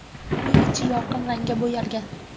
Uy ichi yorqin rangga bo‘yalgan.